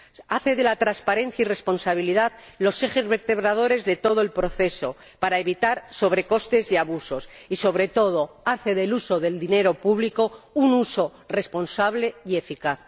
hace de la transparencia y responsabilidad los ejes vertebradores de todo el proceso para evitar sobrecostes y abusos y, sobre todo, hace del uso del dinero público un uso responsable y eficaz.